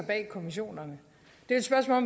svarer